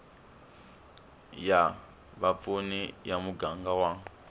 ya vapfuni ya muganga wa